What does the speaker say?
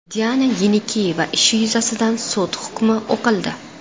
Diana Yenikeyeva ishi yuzasidan sud hukmi o‘qildi.